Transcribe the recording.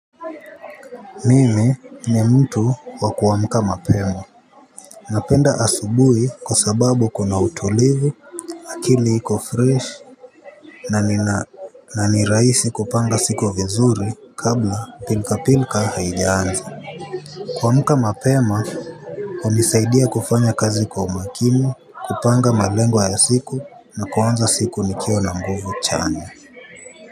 Mimi ni mtu wa kuamka mapema. Napenda asubui kwa sababu kuna utulivu. Akili iko fresh. Na nina na ni rahisi kupanga siku vizuri kabla pilka pilka haijiaanza. Kuamulka mapema hunisaidia kufanya kazi kwa umakini kupanga malengo ya siku na kuanza siku nikiwa na nguvu chanya.